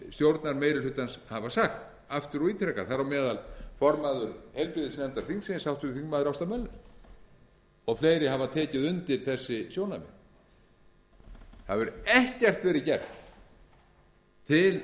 stjórnarmeirihlutans hafa sagt aftur og ítrekað þar á meðal formaður heilbrigðisnefndar þingsins háttvirtur þingmaður ásta möller og fleiri hafa tekið undir þessi sjónarmið það hefur ekkert verið gert til